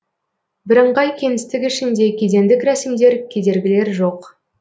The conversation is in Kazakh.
бірыңғай кеңістік ішінде кедендік рәсімдер кедергілер жоқ